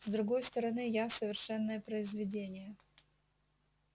с другой стороны я совершенное произведение